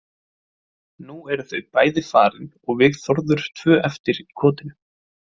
Nú eru þau bæði farin og við Þórður tvö ein eftir í kotinu.